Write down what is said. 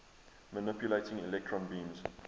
manipulating electron beams